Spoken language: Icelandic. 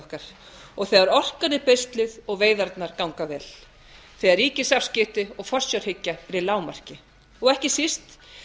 okkar og þegar orkan er beisluð og veiðarnar ganga vel þegar ríkisafskipti og forsjárhyggja eru í lágmarki og ekki síst